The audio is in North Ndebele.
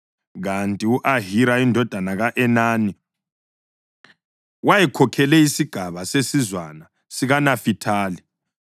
kanti u-Ahira indodana ka-Enani wayekhokhele isigaba sesizwana sikaNafithali.